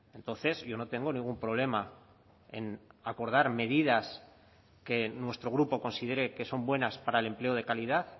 entonces yo no tengo ningún problema en acordar medidas que nuestro grupo considere que son buenas para el empleo de calidad